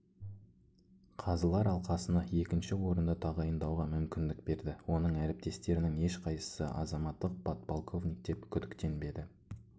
қазылар алқасына екінші орынды тағайындауға мүмкіндік берді оның әріптестерінің ешқайсысы азаматтық подполковник деп күдіктенбеді